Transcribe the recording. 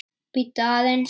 Bíddu aðeins.